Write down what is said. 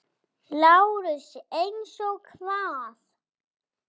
LÁRUS: Eins og hvað?